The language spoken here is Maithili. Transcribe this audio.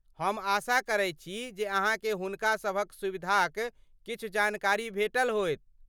हम आशा करैत छी जे अहाँकेँ हुनका सभक सुविधाक किछु जानकारी भेटल होयत।